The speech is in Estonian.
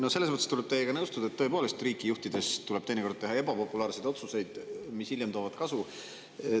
No selles mõttes tuleb teiega nõustuda, et tõepoolest, riiki juhtides tuleb teinekord teha ebapopulaarseid otsuseid, mis hiljem toovad kasu.